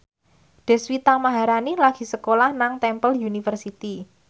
Deswita Maharani lagi sekolah nang Temple University